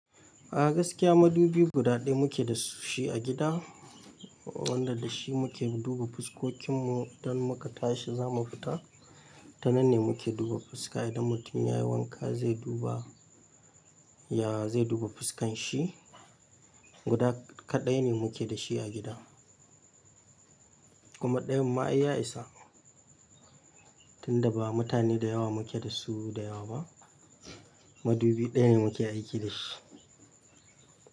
A gaskiya madubi guda ɗaya muke da shi a gida wanda da shi muke duba fuskokin mu, idan muka tashi zamu fita. Tananne muke duba fuska idan mutum yayi wanka zai duba, ya zai duba fuskan shi. Guda kaɗai ne muke da shi a gida. Kuma ɗayan ma ai ya isa tunda ba mutane da yawa muke da su da yawa ba. Madubi ɗaya ne muke aiki da shi.